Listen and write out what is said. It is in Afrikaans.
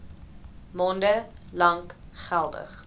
maande lank geldig